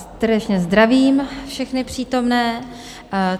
Srdečně zdravím všechny přítomné.